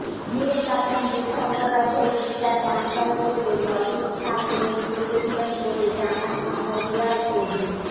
মীর কাসেম যুদ্ধাপরাধের বিচার বানচাল করতে লবিস্ট ফার্ম নিয়োগ করেছিলেন বলে জানান শাহরিয়ার কবির